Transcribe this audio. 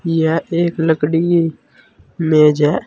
यह एक लकड़ी मेज है।